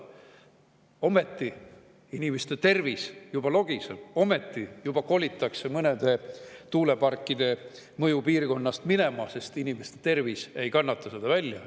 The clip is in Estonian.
Ometi inimeste tervis juba logiseb, juba kolitakse mõnede tuuleparkide mõjupiirkonnast minema, sest inimeste tervis ei kannata seda välja.